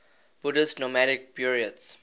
buddhist nomadic buryats